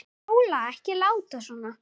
Sóla, ekki láta svona.